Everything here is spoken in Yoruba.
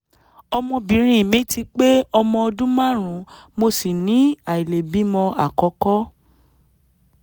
ọmọbìnrin mi ti pé ọmọ ọdún márùn-ún mo sì ní àìlèbímọ àkọ́kọ́